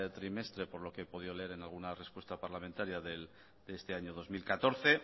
trimestre por lo que he podido leer en alguna respuesta parlamentaria de este año dos mil catorce